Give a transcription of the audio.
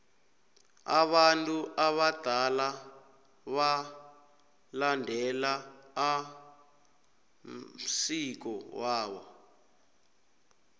abantu abadala balandela amsiko wabo